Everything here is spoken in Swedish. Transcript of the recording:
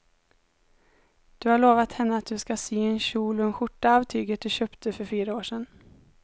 Du har lovat henne att du ska sy en kjol och skjorta av tyget du köpte för fyra år sedan.